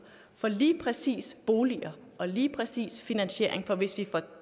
for lige præcis boliger og lige præcis finansiering for hvis vi får